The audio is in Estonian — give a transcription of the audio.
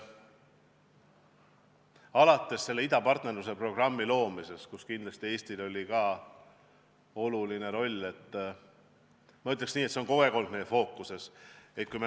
Alates idapartnerluse programmi loomisest, kus kindlasti ka Eestil oli oluline roll, on see kogu aeg olnud meie fookuses.